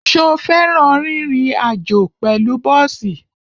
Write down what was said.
Ṣo fẹ́ràn rírin àjó pẹ̀lú bọ́ọ̀sì?